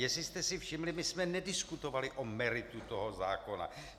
Jestli jste si všimli, my jsme nediskutovali o meritu toho zákona.